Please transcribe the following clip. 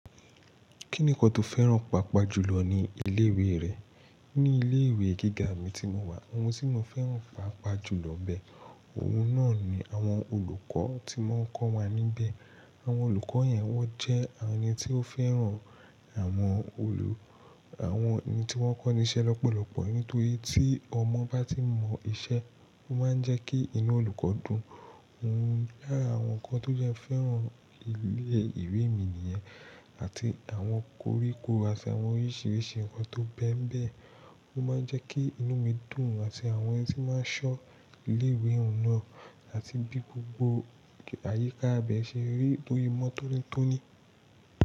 Kí nìkan tó fẹ́ràn pàápàá jù lọ ní ilé ìwé rẹ̀? Ní ilé ìwé gíga mi tí mo wà, ohun tí mo fẹ́ràn pàápàá jù lọ bẹ, òun náà ni àwọn olùkọ́ tí wọ́n ń kọ́ wa níbẹ̀. Àwọn olùkọ́ yẹn wọ́n jẹ́ àwọn ẹni tí ó fẹ́ràn àwọn olù-- àwọn ẹni tí wọ́n kọ́ ni iṣẹ́ lọ́pọ̀lọpọ̀. Nítorí tí ọmọ bá ti mọ iṣẹ́, ó máa ń jẹ́ kí inú olùkọ́ dùn. Òun lára àwọn nǹkan tó jẹ́ fẹ́ràn ilé ìwé mi nìyẹn, àti àwọn koríko àti àwọn oríṣìíríṣìí nǹkan tó bẹ́mbẹ́, ó máa ń jẹ́ kí inú mi dùn àti àwọn ẹni tí máa ń ṣọ́ ilé ìwé òun náà, àti bí gbogbo àyíká ibẹ̀ ṣe rí tó mọ́ tótóní.